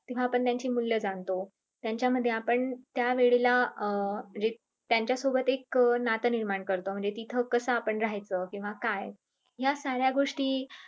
तेव्हा आपण त्यांची मूल्य जाणतो त्यांच्यामध्ये आपण त्यावेळेला अं जे त्यांच्यासोबत एक नातं निर्माण करतो म्हणजे तिथं आपण कस रहायचं किंव्हा काय या साऱ्या गोष्टी